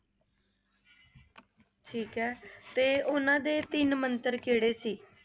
ਠੀਕ ਏ ਤੇ ਉਹਨਾਂ ਦੇ ਤਿੰਨ ਮੰਤਰ ਕਿਹੜੇ ਸੀ?